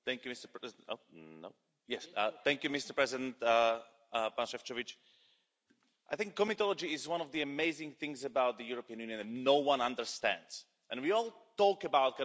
Mr President, I think comitology is one of the amazing things about the European Union that no one understands, and we all talk about...